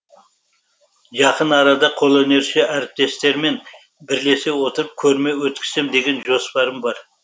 жақын арада қолөнерші әріптестеріммен бірлесе отырып көрме өткізсем деген жоспарым бар